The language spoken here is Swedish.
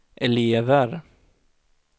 elever